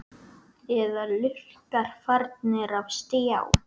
Eða lurkar farnir á stjá?